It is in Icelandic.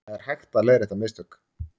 Það er hægt að leiðrétta mistök